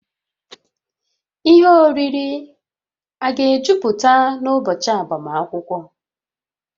Ihe oriri a ga-ejuputa n'ụbọchị agbamakwụkwọ?